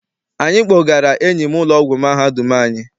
Anyị gbọgara enyi m n'ụlọ ọgwụ mahadum anyị.